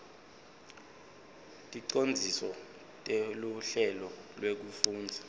ticondziso teluhlelo lwekufundza